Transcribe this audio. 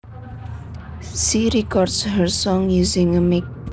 She records her songs using a mic